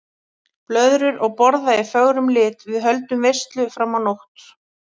Blöðrur og borða í fögrum lit, við höldum veislu fram á nótt.